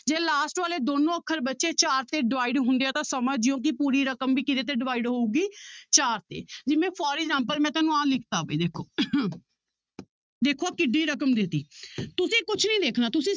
ਜੇ last ਵਾਲੇ ਦੋਨੋਂ ਅੱਖਰ ਬੱਚੇ ਚਾਰ ਤੇ divide ਹੁੰਦੇ ਆ ਤਾਂ ਸਮਝ ਜਾਇਓ ਕਿ ਪੂਰੀ ਰਕਮ ਵੀ ਕਿਹਦੇ ਤੇ divide ਹੋਊਗੀ ਚਾਰ ਤੇ ਜਿਵੇਂ for example ਮੈਂ ਤੁਹਾਨੂੰ ਆਹ ਲਿਖ ਦਿੱਤਾ ਵੀ ਦੇਖੋ ਦੇਖੋ ਆਹ ਕਿੱਢੀ ਰਕਮ ਦੇ ਦਿੱਤੀ ਤੁਸੀਂ ਕੁਛ ਨੀ ਦੇਖਣਾ ਤੁਸੀਂ